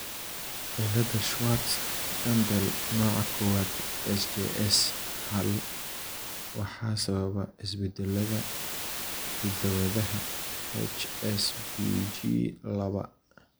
cilada Schwartz Jampel nooca kowaad (SJS hal) waxaa sababa isbeddellada hidda-wadaha HSPG laba.